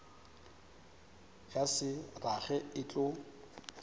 ya se rage e tlo